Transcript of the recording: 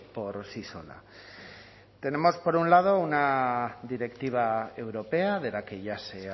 por sí sola tenemos por un lado una directiva europea de la que ya se